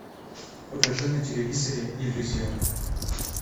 покажи на телевизоре иллюзион